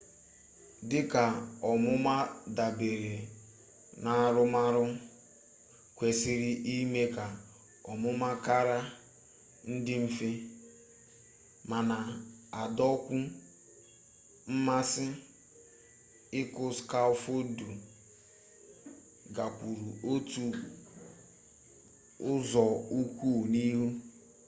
dịka ọmụmụ dabere n'arụmarụ kwesịrị ime ka ọmụmụ kara dị mfe ma na-adọkwu mmasị ịkụ skafoldu gakwuru otu ụzọụkwụ n'ihu